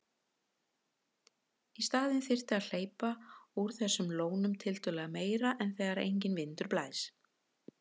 Í staðinn þyrfti að hleypa úr þessum lónum tiltölulega meira þegar enginn vindur blæs.